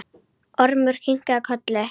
Ormur kinkaði kolli.